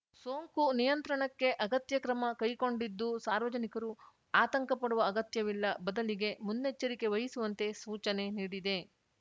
ಸೋಂಕು ನಿಯಂತ್ರಣಕ್ಕೆ ಅಗತ್ಯ ಕ್ರಮ ಕೈಗೊಂಡಿದ್ದು ಸಾರ್ವಜನಿಕರು ಆತಂಕ ಪಡುವ ಅಗತ್ಯವಿಲ್ಲ ಬದಲಿಗೆ ಮುನ್ನೆಚ್ಚರಿಕೆ ವಹಿಸುವಂತೆ ಸೂಚನೆ ನೀಡಿದೆ